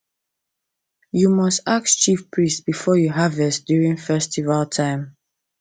you must ask chief priest before you harvest during festival time